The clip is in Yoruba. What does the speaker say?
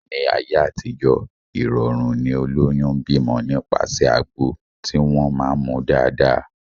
Ní ayé àtijó, ìrọ̀rùn ni olóyún ń bímọ nípasẹ̀ àgbo tí wọ́n máá ń mu dáadáa